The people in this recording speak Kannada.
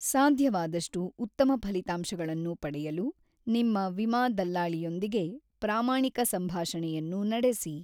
ಸಾಧ್ಯವಾದಷ್ಟು ಉತ್ತಮ ಫಲಿತಾಂಶಗಳನ್ನು ಪಡೆಯಲು ನಿಮ್ಮ ವಿಮಾ ದಲ್ಲಾಳಿಯೊಂದಿಗೆ ಪ್ರಾಮಾಣಿಕ ಸಂಭಾಷಣೆಯನ್ನು ನಡೆಸಿ.